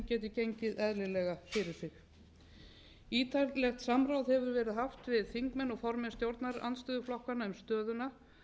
geti gengið eðlilega fyrir sig ítarlegt samráð hefur verið haft við þingmenn og formenn stjórnarandstöðuflokkanna um stöðuna